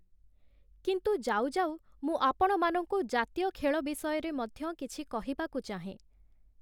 କିନ୍ତୁ ଯାଉଯାଉ ମୁଁ ଆପଣମାନଙ୍କୁ ଜାତୀୟ ଖେଳ ବିଷୟରେ ମଧ୍ୟ କିଛି କହିବାକୁ ଚାହେଁ ।